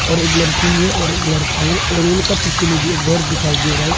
और एक लड़की है और एक लड़का है और उनका पीछे में भी एक घर दिखाई दे रहा है।